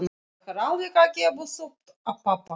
Ég er alveg að gefast upp á pabba.